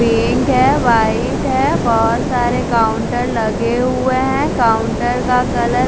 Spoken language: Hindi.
पिंक है वाइट है बहत सारे काउंटर लगे हुए है कोउन्टर का कलर --